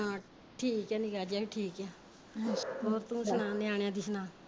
ਠੀਕ ਐ ਨਿੱਕਾ ਜਾ ਵੀ ਠੀਕ ਐ ਹੋਰ ਤੂੰ ਸੁਣਾ ਨਿਆਣਿਆਂ ਦੀ ਸੁਣਾ?